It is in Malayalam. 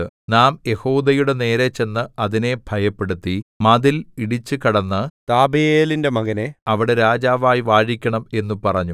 നാം യെഹൂദയുടെനേരെ ചെന്ന് അതിനെ ഭയപ്പെടുത്തി മതിൽ ഇടിച്ചു കടന്നു താബെയലിന്റെ മകനെ അവിടെ രാജാവായി വാഴിക്കണം എന്നു പറഞ്ഞു